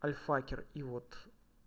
альфакер и вот